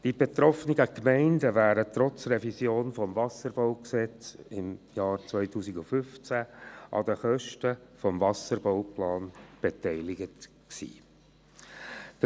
Die betroffenen Gemeinden wären trotz Revision des WBG im Jahr 2015 an den Kosten des Wasserbauplans beteiligt gewesen.